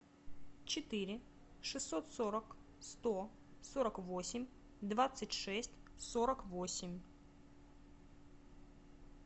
четыре шестьсот сорок сто сорок восемь двадцать шесть сорок восемь